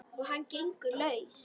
Og hann gengur laus!